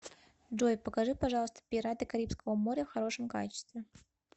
джой покажи пожалуйста пираты карибского моря в хорошем качестве